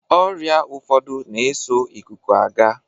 Ọrịa ụfọdụ na-eso ịkụkụ aga.